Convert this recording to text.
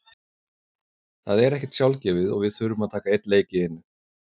Það er ekkert sjálfgefið og við þurfum að taka einn leik í einu.